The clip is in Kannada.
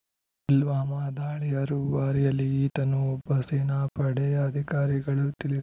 ಪುಲ್ವಾಮಾ ದಾಳಿಯ ರೂವಾರಿಯಲ್ಲಿ ಈತನೂ ಒಬ್ಬ ಸೇನಾಪಡೆಯ ಅಧಿಕಾರಿಗಳು ತಿಳಿ